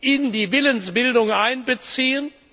in die Willensbildung einbeziehen.